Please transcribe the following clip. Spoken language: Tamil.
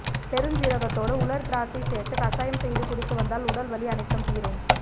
பெருஞ்சீரகத்தோடு உலர் திராட்சை சேர்த்து கசாயம் செய்து குடித்து வந்தால் உடல் வலி அனைத்தும் தீரும்